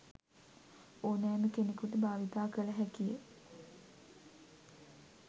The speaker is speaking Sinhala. ඕනෑම කෙනෙකුට භාවිතා කළ හැකි ය.